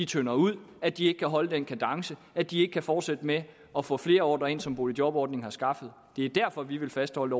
tynder ud at de ikke kan holde den kadence at de ikke kan fortsætte med at få flere ordrer ind som boligjobordningen har skaffet det er derfor vi vil fastholde